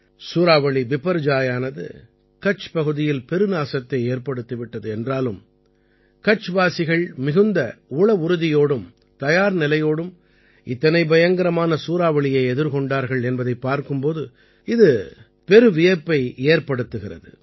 சூறாவளி பிபர்ஜாயானது கட்ச் பகுதியில் பெருநாசத்தை ஏற்படுத்தி விட்டது என்றாலும் கட்ச்வாசிகள் மிகுந்த உளவுறுதியோடும் தயார்நிலையோடும் இத்தனை பயங்கரமான சூறாவளியை எதிர்கொண்டார்கள் என்பதைப் பார்க்கும் போது இது பெருவியப்பு ஏற்படுத்துகிறது